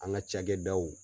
An ka cakɛdaw